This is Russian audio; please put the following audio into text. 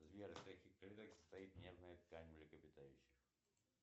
сбер из каких клеток состоит нервная ткань млекопитающих